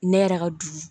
Ne yɛrɛ ka du